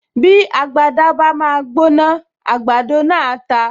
Bí agbada bá máa gbóná, àgbàdo náà á ta